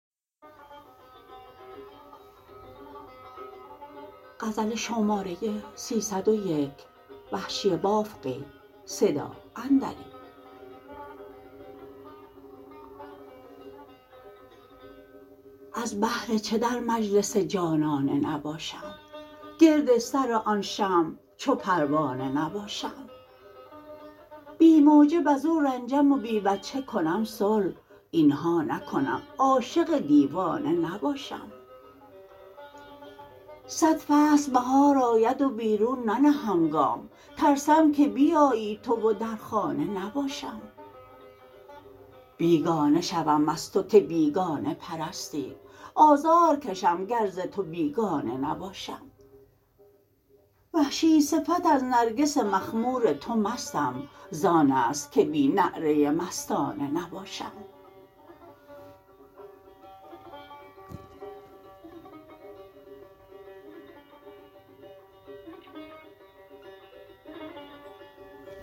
از بهر چه در مجلس جانانه نباشم گرد سر آن شمع چو پروانه نباشم بی موجب از او رنجم و بی وجه کنم صلح اینها نکنم عاشق دیوانه نباشم صد فصل بهار آید و بیرون ننهم گام ترسم که بیایی تو و در خانه نباشم بیگانه شوم از تو که بیگانه پرستی آزار کشم گر ز تو بیگانه نباشم وحشی صفت از نرگس مخمور تو مستم زان است که بی نعره مستانه نباشم